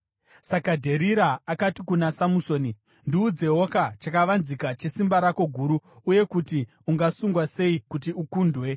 Saka Dherira akati kuna Samusoni, “Ndiudzewoka chakavanzika chesimba rako guru uye kuti ungasungwa sei kuti ukundwe.”